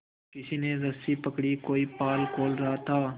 किसी ने रस्सी पकड़ी कोई पाल खोल रहा था